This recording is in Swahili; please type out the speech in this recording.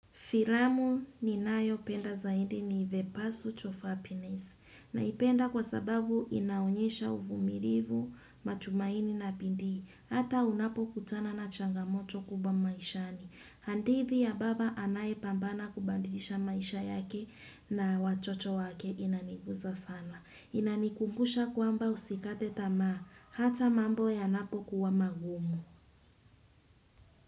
Filamu ninayo penda zaidi ni Vepassus of Happiness na ipenda kwa sababu inaonyesha uvumilivu, matumaini na bidiii, hata unapo kutana na changamoto kubwa maishani. Hadithi ya baba anaye pambana kubadilisha maisha yake na watoto wake inaniguza sana. Inanikumbusha kwamba usikate tama hata mambo ya napo kuwa magumu.